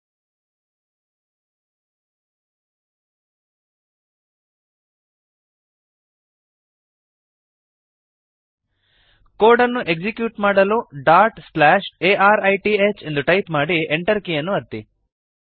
code ಅನ್ನು execute ಮಾಡಲು dot slash arith dot slash A R I T H ಎಂದು type ಮಾಡಿ Enter ಕೀಯನ್ನು ಒತ್ತಿ